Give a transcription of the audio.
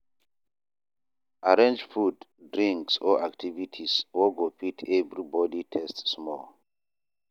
Arrange food, drinks or activities wey go fit everybody taste small.